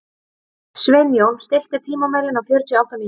Sveinjón, stilltu tímamælinn á fjörutíu og átta mínútur.